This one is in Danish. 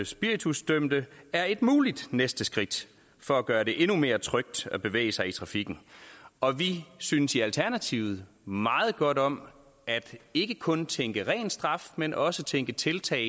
spiritusdømte er et muligt næste skridt for at gøre det endnu mere trygt at bevæge sig i trafikken og vi synes i alternativet meget godt om ikke kun at tænke i ren straf men også tænke i tiltag